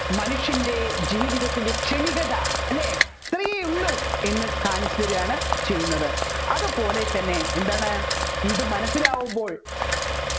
മനുഷ്യൻെറ ജീവിതത്തിന്റെ ക്ഷണികത അല്ലെ ഇത്രേയുള്ളൂ എന്ന് കാണിച്ചതാരികയാണ് ചെയ്യുന്നത് അതുപോലെ തന്നെ എന്താണ് ഇത് മനസ്സിലാക്കുമ്പോൾ